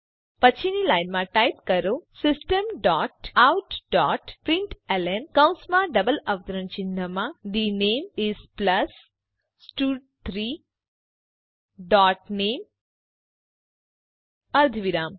પછીની લાઈનમાં ટાઈપ કરો system dot out dot println કૌંસમાં ડબલ અવતરણ ચિહ્નમાં the name is plus stud3 dot name અર્ધવિરામ